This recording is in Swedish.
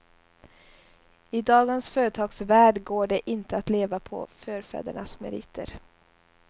I dagens företagsvärld går det inte att leva på förfädernas meriter.